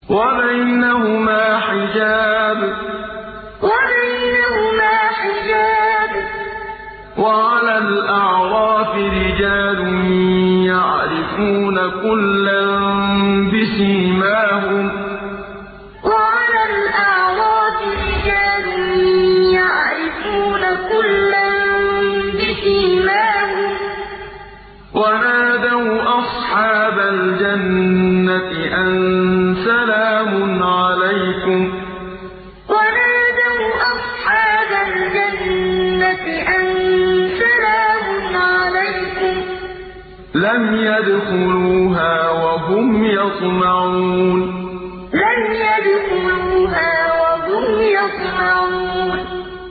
وَبَيْنَهُمَا حِجَابٌ ۚ وَعَلَى الْأَعْرَافِ رِجَالٌ يَعْرِفُونَ كُلًّا بِسِيمَاهُمْ ۚ وَنَادَوْا أَصْحَابَ الْجَنَّةِ أَن سَلَامٌ عَلَيْكُمْ ۚ لَمْ يَدْخُلُوهَا وَهُمْ يَطْمَعُونَ وَبَيْنَهُمَا حِجَابٌ ۚ وَعَلَى الْأَعْرَافِ رِجَالٌ يَعْرِفُونَ كُلًّا بِسِيمَاهُمْ ۚ وَنَادَوْا أَصْحَابَ الْجَنَّةِ أَن سَلَامٌ عَلَيْكُمْ ۚ لَمْ يَدْخُلُوهَا وَهُمْ يَطْمَعُونَ